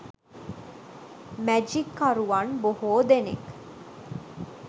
මැජික්කරුවන් බොහෝ දෙනෙක්